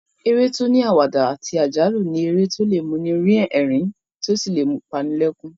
Eré tó ní àwàdà àti àjálù ni eré tó lè mú ni rín ẹ̀rín tó sì lè pa ni lẹ́kún